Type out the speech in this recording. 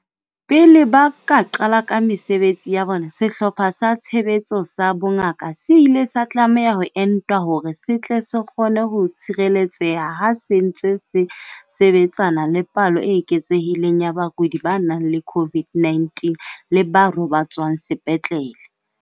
Pele ba ka qala ka mesebetsi ya bona, Sehlopha sa Tshebetso sa Bongaka se ile sa tlameha ho entwa hore se tle se kgone ho tshireletseha ha se ntse se sebetsana le palo e eketsehileng ya bakudi ba nang le COVID-19 le ba robatswang sepetlele.